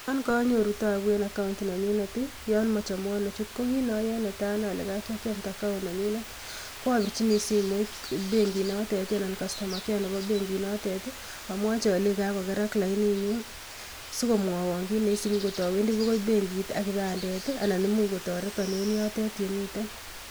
Yon konyooru taabu en account nenyuunet ak mochomwoon achut, ko kit neoyoe netai akere account nenyunet ak abirchi simoit benkit note anan kastomakea nebo benkinotet, amwochii alenyii kakogerak laininyun. Sikomwoon kit neisibu kot awendii bokoi benkiit ak kipandet, anan much kotoreton en yotet